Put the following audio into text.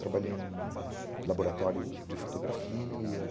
Trabalhei em laboratório de fotografia.